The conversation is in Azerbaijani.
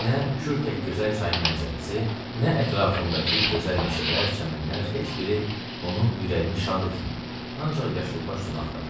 Nə Kür tək gözəl çay mənzərəsi, nə ətrafındakı gözəl meşələr, çəmənlər heç biri onun ürəyini şad etməyib, ancaq yaşılbaş sona axtarıb.